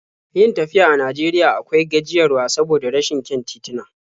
Yin tafiya a Najeriya akwai gajiyarwa saboda rashin kyan tituna.